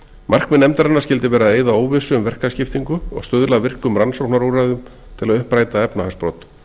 markmið nefndarinnar skyldi vera að eyða óvissu um verkaskiptingu og stuðla að virkum rannsóknarúrræðum til að uppræta efnahagsbrot